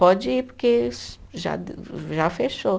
Pode ir porque já de, já fechou.